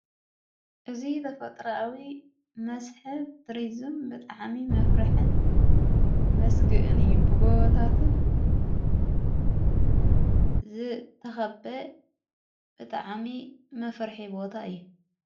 እዝ ተፈጥራዊ መስሕብ ቱሪዘም ብጥዓሚ መፍርሕን መስግእን እዩ ብጐወታትን ዘተኸበ ብጥዓሚ መፍርሒ ቦታ እዩ።